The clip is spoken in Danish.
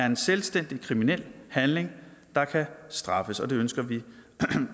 en selvstændig kriminel handling der kan straffes og det ønsker vi